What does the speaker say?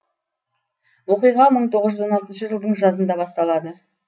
оқиға мың тоғыз жүз он алтыншы жылдың жазында басталады